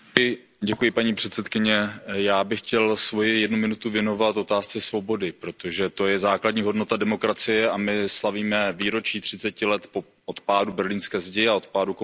Paní předsedající, já bych chtěl svoji jednu minutu věnovat otázce svobody, protože to je základní hodnota demokracie, a my slavíme výročí třiceti let od pádu Berlínské zdi a od pádu komunismu.